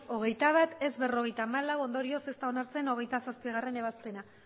hogeita bat ez berrogeita hamalau ondorioz ez da onartzen hogeita zazpigarrena ebazpena